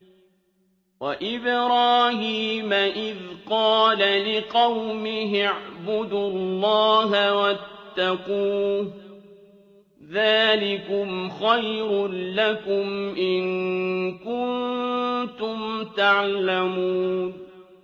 وَإِبْرَاهِيمَ إِذْ قَالَ لِقَوْمِهِ اعْبُدُوا اللَّهَ وَاتَّقُوهُ ۖ ذَٰلِكُمْ خَيْرٌ لَّكُمْ إِن كُنتُمْ تَعْلَمُونَ